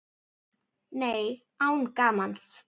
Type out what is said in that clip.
Nei, án gamans.